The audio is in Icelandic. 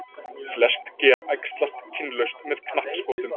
flest ger æxlast kynlaust með knappskotum